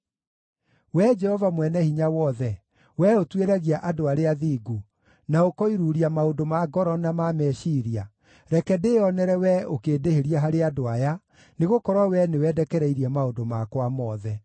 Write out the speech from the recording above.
Wee Jehova Mwene-Hinya-Wothe, wee ũtuĩragia andũ arĩa athingu, na ũkoiruuria maũndũ ma ngoro na ma meciiria, reke ndĩĩonere wee ũkĩndĩhĩria harĩ andũ aya, nĩgũkorwo wee nĩwe ndekereirie maũndũ makwa mothe.